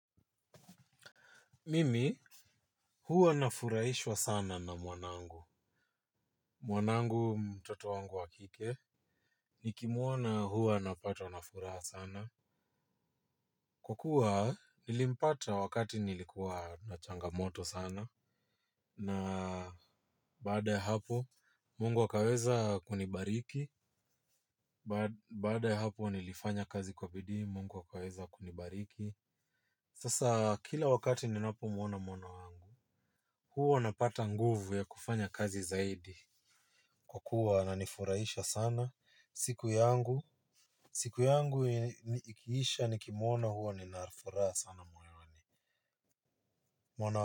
Mimi, huwa nafurahishwa sana na mwanangu. Mwanangu mtoto wangu wa kike. Nikimuona huwa napatwa na furaha sana. Kwkuwa, nilimpata wakati nilikuwa na changamoto sana. Na baada ya hapo, Mungu akaweza kunibariki. Baada ya hapu, nilifanya kazi kwa bidii, Mungu akaweza kunibariki. Sasa, kila wakati ninapomuona mwana wangu. Huwa napata nguvu ya kufanya kazi zaidi kwa kuwa ananifuraisha sana siku yangu siku yangu ikiisha nikimona huwa nina furaha sana moyoni. Mwana.